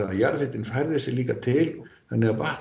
að jarðhitinn færði sig til þannig að vatn